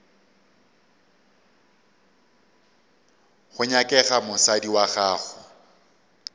go nyakega mosadi wa gago